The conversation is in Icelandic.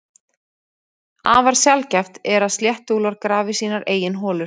Afar sjaldgæft er að sléttuúlfar grafi sínar eigin holur.